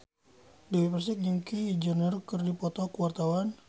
Dewi Persik jeung Kylie Jenner keur dipoto ku wartawan